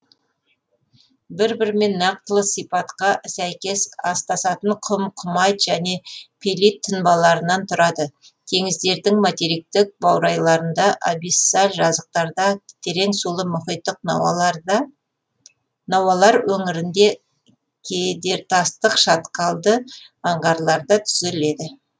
бір бірімен нақтылы сипатқа сәйкес астасатын құм құмайт және пелит тұнбаларынан тұрады теңіздердің материктік баурайларында абиссаль жазықтарда тереңсулы мұхиттық науалар өңірінде кедертастық шатқалды аңғарларда түзіледі